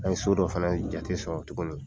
An ye so dɔ fɛnɛ jate sɔrɔ tuguni.